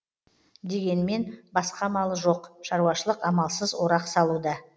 дегенмен басқа амалы жоқ шаруашылық амалсыз орақ салуда